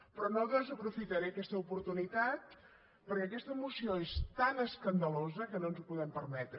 però no desaprofitaré aquesta oportunitat perquè aquesta moció és tan escandalosa que no ens ho podem permetre